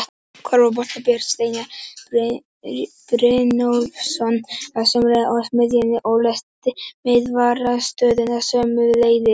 Körfuboltamaðurinn Björn Steinar Brynjólfsson var sömuleiðis á miðjunni og leysti miðvarðarstöðuna sömuleiðis.